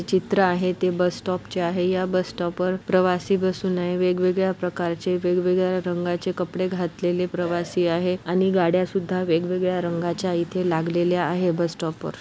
चित्र आहे ते बस स्टॉप चे आहे. या बस स्टॉप वर प्रवासी बसून आहे. वेगवेगळ्या प्रकार चे वेगवेगळ्या रंगाचे कपडे घातलेले प्रवासी आहे आणि गाड्या सुद्धा वेगवेगळ्या रंगाच्या इथे लागलेल्या आहे बस स्टॉप वर.